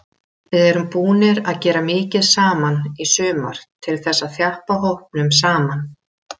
Við erum búnir að gera mikið saman í sumar til þess að þjappa hópnum saman.